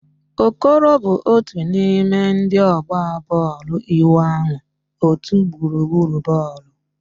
Okoro bụ otu n'ime ndị ọgba bọọlụ ịwụ ahụ otu egwuregwu bọọlụ.